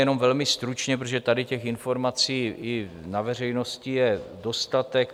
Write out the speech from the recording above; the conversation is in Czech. Jenom velmi stručně, protože tady těch informací i na veřejnosti je dostatek.